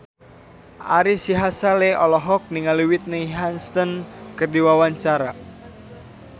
Ari Sihasale olohok ningali Whitney Houston keur diwawancara